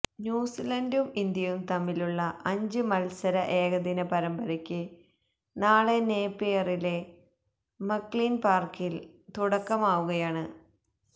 ന്യൂസിലൻഡും ഇന്ത്യയുംതമ്മിലുള്ള അഞ്ച് മത്സര ഏകദിന പരമ്പരയ്ക്ക് നാളെ നേപ്പിയറിലെ മക്ലീൻ പാർക്കിൽ തുടക്കമാവുകയാണ്